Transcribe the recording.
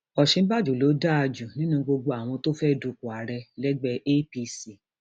òsínbàjò ló dáa jù nínú gbogbo àwọn tó fẹẹ dúpọ ààrẹ lẹgbẹ apc